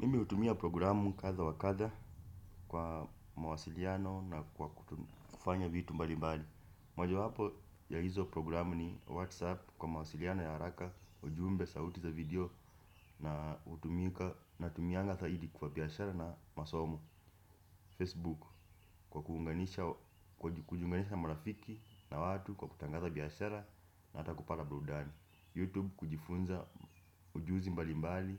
Mimi hutumia programu kadha wa kadha kwa mawasiliano na kufanya vitu mbali mbali. Moja wapo ya hizo programu ni whatsapp, kwa mawasiliano ya haraka, ujumbe sauti za video na hutumika, natumianga zaidi kwa biashara na masomo. Facebook kwa kuunganisha kwa kujunganisha marafiki na watu kwa kutangaza biashara na hata kupanga burudani. Youtube kujifunza ujuzi mbali mbali,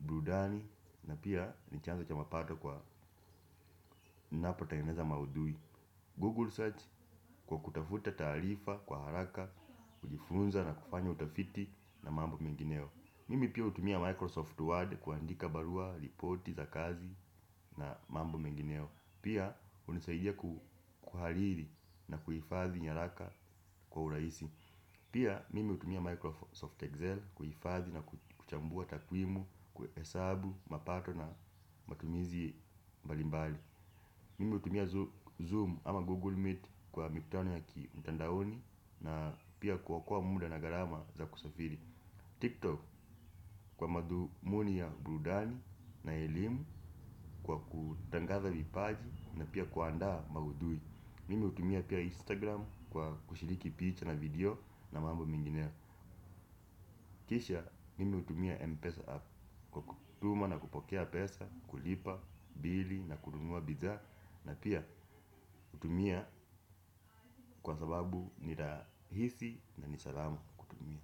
burudani na pia ni chanzo cha mapato kwa ninapotengeneza mahudhui. Google site kwa kutafuta taarifa kwa haraka, kujifunza na kufanya utafiti na mambo mengineyo. Mimi pia hutumia microsoft word kuandika barua, ripoti za kazi na mambo mengineyo. Pia hunisaidia ku kuhariri na kuhifadhi nyaraka kwa urahisi pia, mimi hutumia Microsoft Excel kuhifadhi na kuchambua takwimu, kuhesabu mapato na matumizi mbalimbali mimi hutumia Zoom ama Google Meet kwa mikutano ya ki mtandaoni na pia kuokua muda na gharama za kusafiri. TikTok kwa madhumuni ya burudani na elimu kwa kutangaza vipaji na pia kuandaa mahudhui. Mimi hutumia pia Instagram kwa kushiriki picture na video na mambo mingine kisha nimi hutumia mpesa app kwa kutuma na kupokea pesa, kulipa, bili na kununua bidhaa na pia hutumia kwa sababu ni rahisi na ni salama kwa kutumia.